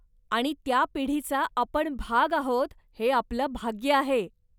आणि त्या पिढीचा आपण भाग आहोत हे आपलं भाग्य आहे.